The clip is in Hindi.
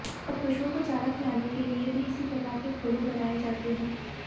पशुओं को चारा खिलाने के लिए भी इसी प्रकार के खोले बनाए जाते हैं